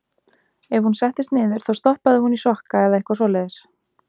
Ef hún settist niður þá stoppaði hún í sokka eða eitthvað svoleiðis.